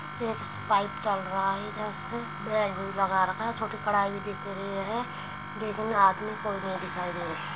pipe चल रहा है | इधर से बेग भी लगा रखा है चोटी कड़ाई भी बिक रही है लेकिन आदमी कोई नहीं दिखाई दे रहें|